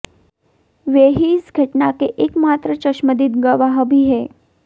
वे ही इस घटना के एकमात्र चश्मदीद गवाह भी हैं